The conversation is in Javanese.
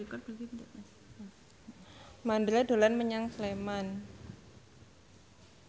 Mandra dolan menyang Sleman